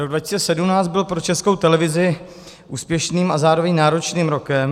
Rok 2017 byl pro Českou televizi úspěšným a zároveň náročným rokem.